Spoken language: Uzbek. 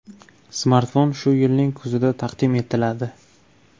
Smartfon shu yilning kuzida taqdim etiladi.